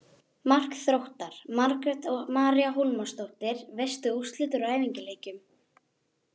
Mark Þróttar: Margrét María Hólmarsdóttir Veistu úrslit úr æfingaleikjum?